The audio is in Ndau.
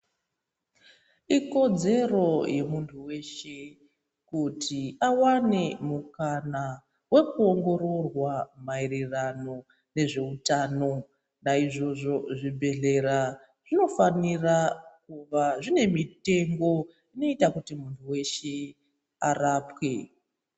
Ikodzero yemuntu weshe kuti awane mukana wekuongororwa maererano nezveutano. Naizvozvo zvibhedhlera zvinofanira kuva zvine mitengo inoita kuti muntu weshe arapwe.